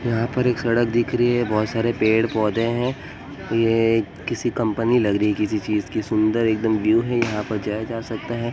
यहां पर एक सड़क दिख रही है। बहुत सारे पेड़ पौधे हैं। यह एक किसी कंपनी लग रही है। किसी चीज़ की सुन्दर एकदम व्यू है। यहाँ पर जाया जा सकता है।